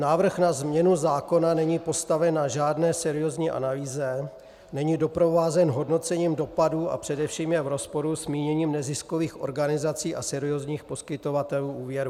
Návrh na změnu zákona není postaven na žádné seriózní analýze, není doprovázen hodnocením dopadů a především je v rozporu s míněním neziskových organizací a seriózních poskytovatelů úvěrů.